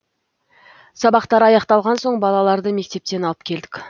сабақтары аяқталған соң балаларды мектептен алып келдік